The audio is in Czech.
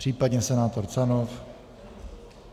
Případně senátor Canov?